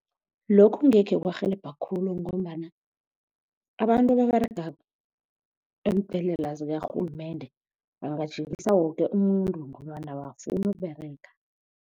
Lokhu ngekhe kwarhelebha khulu ngombana abantu ababerega eembhedlela zikarhulumende bangajikisa woke umuntu ngobana abafuni ukuberega.